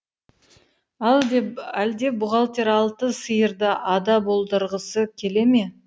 әлде бухгалтер алты сиырды ада болдырғысы келе ме